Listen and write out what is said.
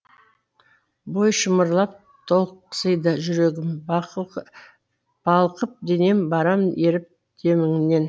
бой шымырлап талықсиды жүрегім балқып денем барам еріп деміңнен